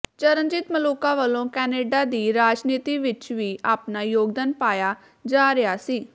ਚਰਨਜੀਤ ਮਲੂਕਾ ਵੱਲੋ ਕਨੇਡਾ ਦੀ ਰਾਜਨੀਤੀ ਵਿੱਚ ਵੀ ਆਪਣਾ ਯੋਗਦਾਨ ਪਾਇਆ ਜਾ ਰਿਹਾ ਸੀ